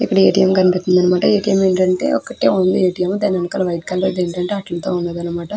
ఇక్కడ ఎ.టి.ఎం. కనిపెస్తునది అనమాట. ఎ.టి.ఎం. ఏంటంటే వకటి ఉనది ఎ.టి.ఎం. దాని వెనకాల ఎండంటే ఆటలతో ఉందనమాట.